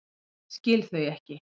Skil þau ekki.